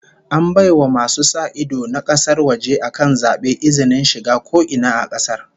An bai wa masu sa ido na kasar waje akan zaben izinin shiga ko ina a kasar